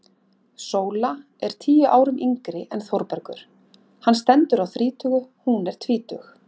Sóla er tíu árum yngri en Þórbergur, hann stendur á þrítugu, hún er tvítug.